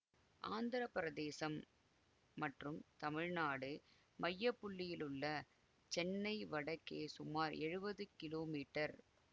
ஆந்திர பிரதேசம் மற்றும் தமிழ்நாடு மையப்புள்ளியிலுள்ள சென்னை வடக்கே சுமார் எழுவது கிலோ மீட்டர்